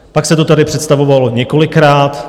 Pak se to tady představovalo několikrát.